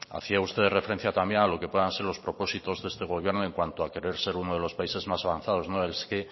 hacía usted referencia también a lo que puedan ser los propósitos de este gobierno en cuanto a querer ser uno de los países más avanzados no es que